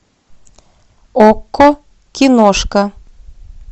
окко киношка